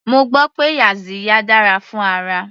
Mo gbọ́ pé yaxiya dára fún ara.